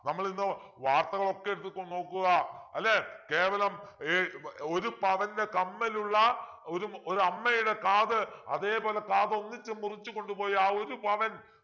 നമ്മളിന്ന് വാർത്തകളൊക്കെ എടുത്തിട്ടൊന്ന് നോക്കുക അല്ലെ കേവലം എ ഒരു പവൻ്റെ കമ്മലുള്ള ഒരും ഒരമ്മയുടെ കാത് അതേപോലെ കാതൊന്നിച്ചു മുറിച്ചുകൊണ്ട്പോയി ആ ഒരു പവൻ